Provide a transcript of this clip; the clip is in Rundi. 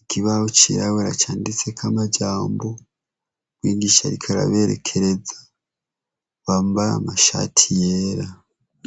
ikibaho cirabura canditsek' amajambo, mwigish' arimbere yab' asankah' arikubabaz' ibibazo cank' arikubigisha.